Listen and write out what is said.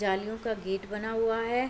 जालियो का गेट बना हुआ है।